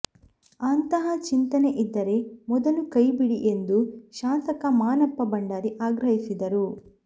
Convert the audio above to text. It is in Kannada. ಅಂತಹ ಚಿಂತನೆ ಇದ್ದರೆ ಮೊದಲು ಕೈ ಬಿಡಿ ಎಂದು ಶಾಸಕ ಮಾನಪ್ಪ ಭಂಡಾರಿ ಆಗ್ರಹಿಸಿದರು